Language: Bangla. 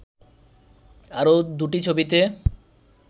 আরও দুটি ছবিতে